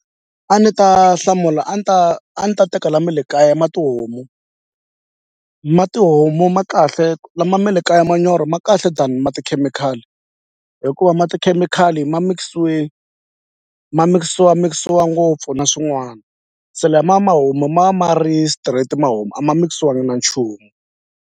A ni ta hlamula a ni ta a ni ta teka la me le kaya ma tihomu ma tihomu ma kahle lama me le kaya manyoro ma kahle than ma tikhemikhali hikuva ma tikhemikhali ma mikisiwe ma mikisiwamikisiwa ngopfu na swin'wana se lama ma homu ma ma ri straight ma homu a ma mikisiwangi na nchumu.